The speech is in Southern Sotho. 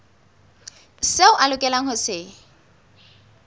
seo a lokelang ho se